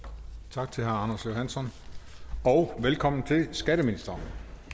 tak til herre anders johansson og velkommen til skatteministeren